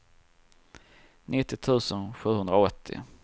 nittio tusen sjuhundraåttio